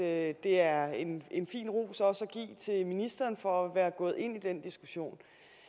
at det er en en fin ros også at til ministeren for at være gået ind i den diskussion